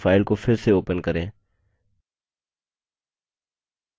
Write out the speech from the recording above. अब हमारे द्वारा देखी गई file को फिर से ओपन करें